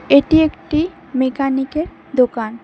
এটি একটি মেকানিক -এর দোকান।